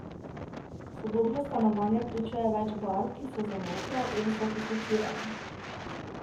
Sodobno stanovanje vključuje več barv, ki so zamolkle in sofisticirane.